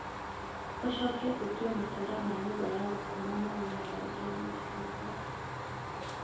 ũcoke ũtue matara ma nyũmba ya gũkoma magĩe na rangi wa macungwa